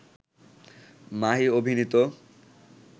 মাহি অভিনীত